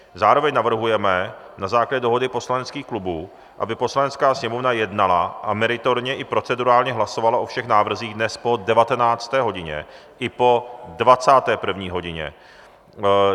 Zároveň navrhujeme na základě dohody poslaneckých klubů, aby Poslanecká sněmovna jednala a meritorně i procedurálně hlasovala o všech návrzích dnes po 19. hodině i po 21. hodině.